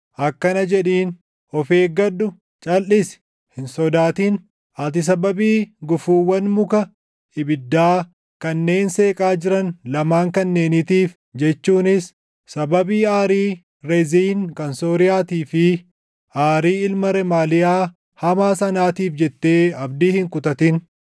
Akkana jedhiin; ‘Of eeggadhu; calʼisi; hin sodaatin. Ati sababii gufuuwwan muka ibiddaa kanneen seeqaa jiran lamaan kanneeniitiif jechuunis sababii aarii Reziin kan Sooriyaatii fi aarii ilma Remaaliyaa hamaa sanaatiif jettee abdii hin kutatin.